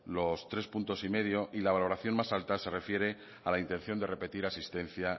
los tres coma cinco puntos y la valoración más alta se refiere a la intención de repetir asistencia